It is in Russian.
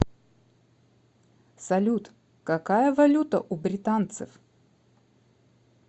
салют какая валюта у британцев